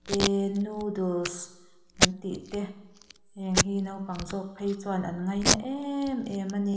tee noodles kan tih te heng hi naupang zawk phei chuan an ngaina em em a ni.